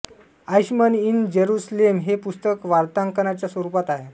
Eichmann in Jerusalem हे पुस्तक वार्तांकनाच्या स्वरूपात आहे